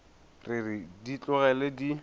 re re di tlogele di